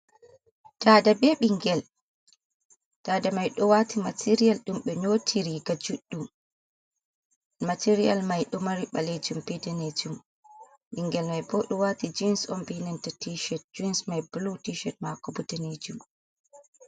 Dada be bingel, dada mai do wati material dumbe nyoti riga juddum, material mai do mari balejum be danejum bingel mai bo do wati jeans on benanta tished, jens mai blu tished mako buddanejum.